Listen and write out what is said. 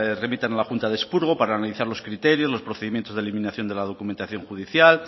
remitan a la junta de expurgo para analizar los criterios los procedimientos de la eliminación de la documentación judicial